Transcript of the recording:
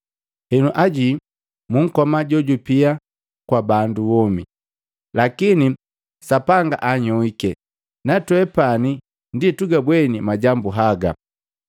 Henu aji, munkoma jojupia kwa bandu womi. Lakini Sapanga anhyoiki, natwepani ndi tugabweni majambu haga.